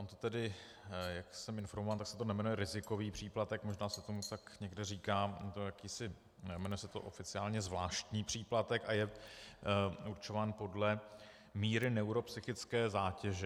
On to tedy, jak jsem informován, tak se to nejmenuje rizikový příplatek, možná se tomu tak někde říká, jmenuje se to oficiálně zvláštní příplatek a je určován podle míry neuropsychické zátěže.